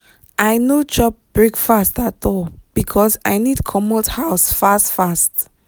i no chop breakfast at all because i need comot house fast fast.